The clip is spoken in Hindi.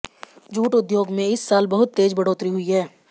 जूट उद्योग में इस साल बहुत तेज बढ़ोतरी हुई है